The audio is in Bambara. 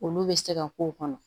Olu bɛ se ka k'o kɔnɔ